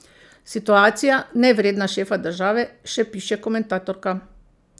Situacija, nevredna šefa države, še piše komentatorka.